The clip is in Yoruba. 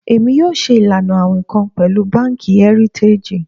Emi yoo ṣe ilana awin kan pẹlu banki Heritage